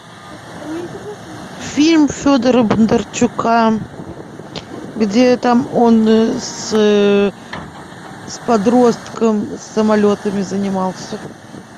фильм федора бондарчука где там он с подростком самолетами занимался